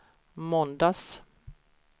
måndags